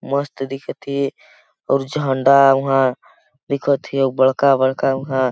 मस्त दिखथे और झंडा उहा दिखथे बड़खा बड़खा उहा--